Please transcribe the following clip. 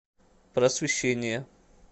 просвещение